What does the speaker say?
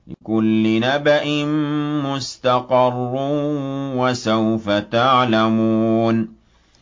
لِّكُلِّ نَبَإٍ مُّسْتَقَرٌّ ۚ وَسَوْفَ تَعْلَمُونَ